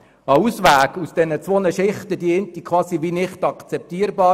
Einen Ausweg aus diesen zwei Sichtweisen wäre für mich ein Postulat.